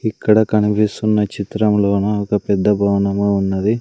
ఇక్కడ కనిపిస్తున్న చిత్రములోన ఒక పెద్ద భవనము ఉన్నది.